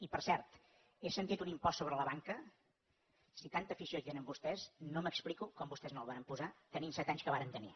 i per cert he sentit un impost sobre la banca si tanta afició hi tenen vostès no m’explico com vostès no el varen posar tenint set anys com varen tenir